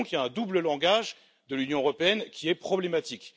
Il y a donc un double langage de l'Union européenne qui est problématique.